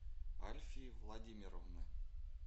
альфии владимировны